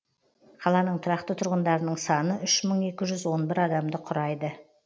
қаланың тұрақты тұрғындарының саны үш мың екі жүз он бір адамды құрайды